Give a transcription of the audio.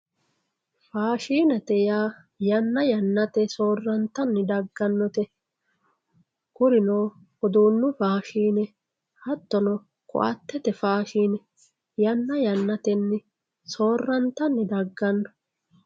faashinete yaa yanna yannantenni soorrantanni daggannote kurino uduunnu faashine hattono koatete faashine yanna yannatenni soorrantanni dagganno.